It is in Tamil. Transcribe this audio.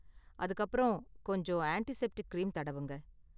அதுக்கு அப்பறம், கொஞ்சம் ஆண்ட்டிசெப்டிக் கிரீம் தடவுங்க.